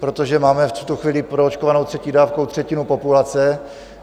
Protože máme v tuto chvíli proočkovanou třetí dávkou třetinu populace.